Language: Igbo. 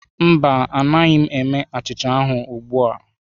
Mba, anaghị m eme achịcha ahụ ugbu a.